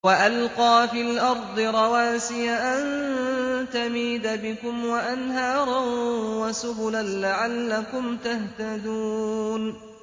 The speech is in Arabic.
وَأَلْقَىٰ فِي الْأَرْضِ رَوَاسِيَ أَن تَمِيدَ بِكُمْ وَأَنْهَارًا وَسُبُلًا لَّعَلَّكُمْ تَهْتَدُونَ